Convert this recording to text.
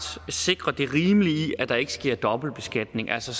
sikre det rimelige i at der ikke sker dobbeltbeskatning altså